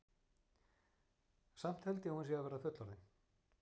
Samt held ég að hún sé að verða fullorðin.